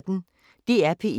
DR P1